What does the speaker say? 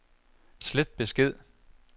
slet besked